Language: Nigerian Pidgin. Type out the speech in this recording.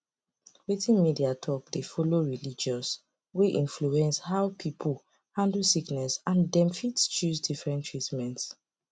wetin media talk dey follow religious way influence how people handle sickness and dem fit choose different treatment